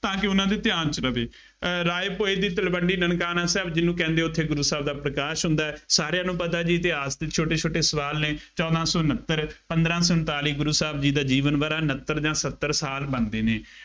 ਤਾਂ ਕਿ ਉਹਨਾ ਦੇ ਧਿਆਨ ਚ ਰਹਵੇ। ਅਹ ਰਾਏ ਭੋਏ ਦੀ ਤਲਵੰਡੀ, ਨਨਕਾਣਾ ਸਾਹਿਬ ਜਿਹਨੂੰ ਕਹਿੰਦੇ ਆ ਉੱਥੇ ਗੁਰੂ ਸਾਹਿਬ ਦਾ ਪ੍ਰਕਾਸ਼ ਹੁੰਦਾ ਹੈ। ਸਾਰਿਆਂ ਨੂੰ ਪਤਾ ਜੀ ਇਤਿਹਾਸ ਚ ਛੋਟੇ ਛੋਟੇ ਸਵਾਲ ਨੇ, ਚੌਦਾਂ ਸੌ ਉਨੱਤਰ, ਪੰਦਰਾਂ ਸੌ ਉਨਤਾਲੀ ਗੁਰੂ ਸਾਹਿਬ ਜੀ ਦਾ ਜੀਵਨ ਵਰ੍ਹਾ ਉਨੱਤਰ ਜਾਂ ਸੱਤਰ ਸਾਲ ਬਣਦੇ ਨੇ।